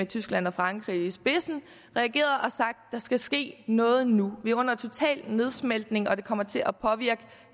tyskland og frankrig i spidsen har reageret og sagt at der skal ske noget nu vi er under total nedsmeltning og det kommer til at påvirke